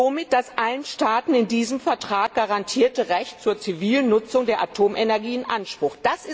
Er nimmt somit das allen Staaten in diesem Vertrag garantierte Recht zur zivilen Nutzung der Atomenergie in Anspruch.